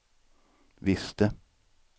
visste